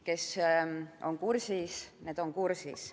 Kes on kursis, need on kursis.